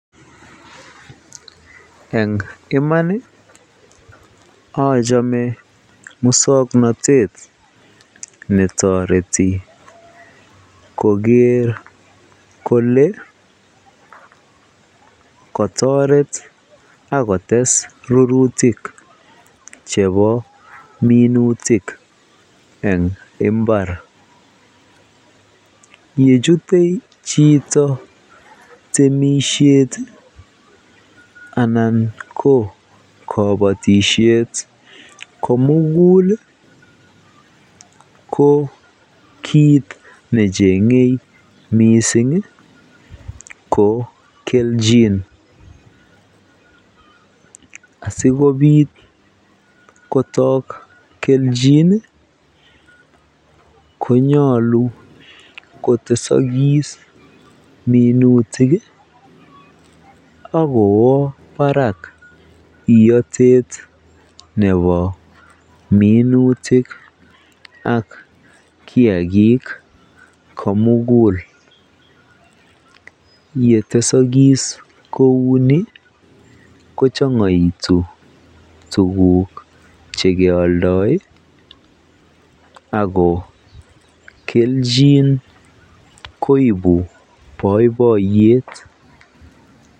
Eng iman ochome muswoknotet netoreti koker kolee kotoret ak kotes rurutik chebo minutik en imbar, yechute chito temishet anan ko kobotishet komukul ko kiit nechenge mising ko kelchin asikobit kotok kelchin konyolu kotesokis minutik ak kowoo barak iyotet nebo minutik ak kiakik komukul, yetesokis kouni ko chongoitu tukuk chekeoldoi ak ko kelchin koibu boiboiyet.